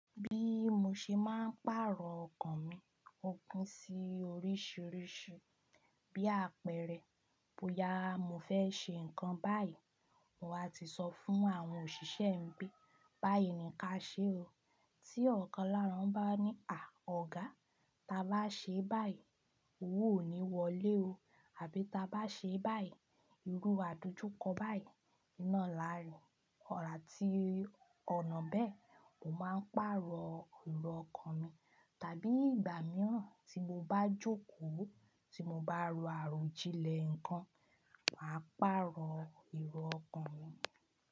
Bí mo ṣe máa ń pàrọ̀ ọkàn mi o pin sí oríṣìíríṣìí, bí àpẹẹrẹ, bóyá mo fẹ́ ṣe nǹkan báyìí, mo wá ti sọ fún àwọn òṣìṣẹ́ mi pé báyìí ni ka ṣe o. Tí ọ̀kan lára wọn bá ní "à ọ̀gá, ta bá ṣe báyìí, òwo ò ní wọlé o" àbí "ta bá ṣe báyìí, irú àdojúkọ báyìí, naá làá rì", ọ̀rá tí ọ̀nà bẹ́ẹ̀, mo máa ń pàrọ̀ èrò ọkàn mi. Tàbí ìgbà mìíràn tí mo bá jókòó, tí mo bá ro àròjinlẹ̀ nǹkan, màá pàrọ̀ èrò ọkàn mi.